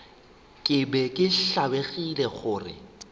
ke be ke tlabegile gore